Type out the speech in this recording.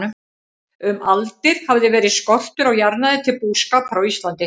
Um aldir hafði verið skortur á jarðnæði til búskapar á Íslandi.